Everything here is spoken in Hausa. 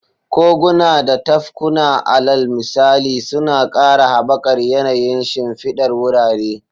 Koguna da tafkuna, alal misali, suna ƙara haɓakar yanayin shimfidar wurare.